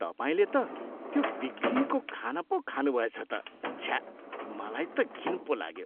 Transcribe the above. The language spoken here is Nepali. तपाईँले त त्यो बिग्रिएको खाना पो खानुभएछ त। छ्या! मलाई त घिन पो लाग्यो।